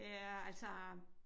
Ja altså